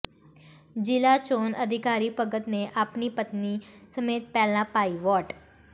ਜ਼ਿਲ੍ਹਾ ਚੋਣ ਅਧਿਕਾਰੀ ਭਗਤ ਨੇ ਆਪਣੀ ਪਤਨੀ ਸਮੇਤ ਪਹਿਲਾਂ ਪਾਈ ਵੋਟ